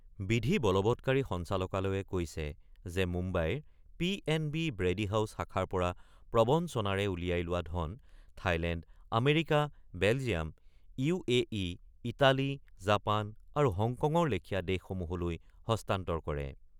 বিধি বলৱৎকাৰী সঞ্চালকালয়ে কৈছে যে মুম্বাইৰ P N B Brady House শাখাৰ পৰা প্ৰবঞ্চনাৰে উলিয়াই লোৱা ধন Thailand, America, Belgium, U A E, Italy , Japan আৰু হংকঙৰ লেখিয়া দেশসমূহলৈ হস্তান্তৰ কৰে।